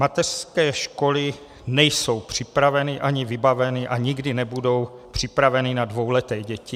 Mateřské školy nejsou připraveny ani vybaveny a nikdy nebudou připraveny na dvouleté děti.